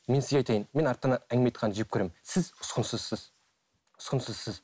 мен сізге айтайын мен арттан әңгіме айтқанды жек көремін сіз ұсқынсызсыз ұсқынсызсыз